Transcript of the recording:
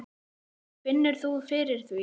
Finnur þú fyrir því?